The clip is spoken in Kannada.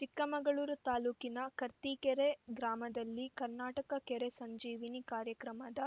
ಚಿಕ್ಕಮಗಳೂರು ತಾಲೂಕಿನ ಕರ್ತೀಕೆರೆ ಗ್ರಾಮದಲ್ಲಿ ಕರ್ನಾಟಕ ಕೆರೆ ಸಂಜೀವಿನಿ ಕಾರ್ಯಕ್ರಮದ